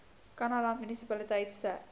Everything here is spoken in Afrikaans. kannaland munisipaliteit se